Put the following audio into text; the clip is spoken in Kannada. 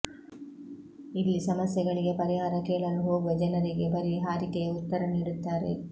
ಇಲ್ಲಿ ಸಮಸ್ಯೆಗಳಿಗೆ ಪರಿಹಾರ ಕೇಳಲು ಹೋಗುವ ಜನರಿಗೆ ಬರೀ ಹಾರಿಕೆಯ ಉತ್ತರ ನೀಡುತ್ತಾರೆ